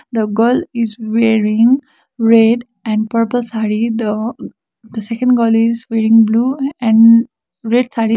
the girl is wearing red and purple saree the the second girl is wearing blue a and red saree.